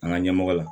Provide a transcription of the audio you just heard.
An ka ɲɛmɔgɔ la